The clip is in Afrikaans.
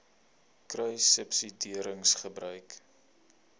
kruissubsidiëringgebruik